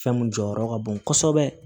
Fɛn mun jɔyɔrɔ ka bon kosɛbɛ